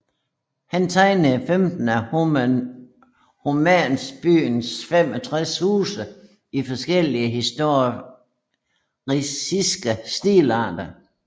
Han tegnede 15 af Homansbyens 65 huse i forskellige historicistiske stilarter